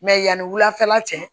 Mɛ yanni wulafɛla cɛ